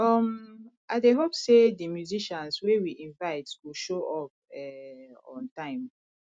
um i dey hope sey di musicians wey we invite go show up um on time